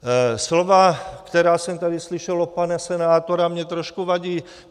Slova, která jsem tady slyšel od pana senátora, mi trošku vadí.